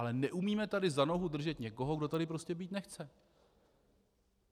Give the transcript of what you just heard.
Ale neumíme tady za nohu držet někoho, kdo tady prostě být nechce.